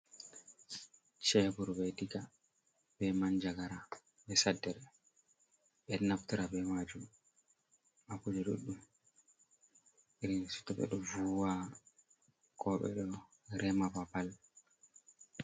cebur be diga, be mannjagara ,be saddere ,ɓe ɗo naftira be maajum haa kuuje ɗuɗɗum iri to ɓe ɗo vuuwa ko ɓe ɗo rema babal.